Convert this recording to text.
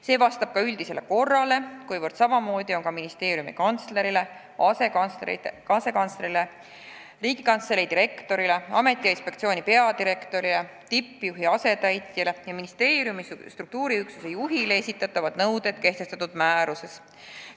See vastab ka üldisele korrale: ministeeriumi kantslerile, asekantslerile, Riigikantselei direktorile, ameti ja inspektsiooni peadirektorile, tippjuhi asetäitjale ja ministeeriumi struktuuriüksuse juhile esitatavad nõuded on kehtestatud määruses.